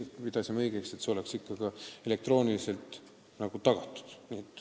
Me peame õigeks, et lühimenetlus oleks ikka ka elektrooniliselt tagatud.